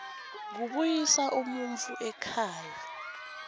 kubuyisa umuntfu ekhaya